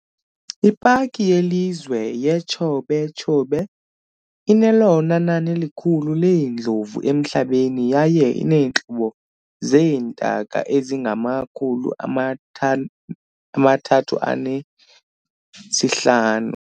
Ipaki yelizwe yeTshobe "Chobe" inelona nani likhulu leendlovu emhlabeni yaye ineentlobo zeentaka ezingama-350.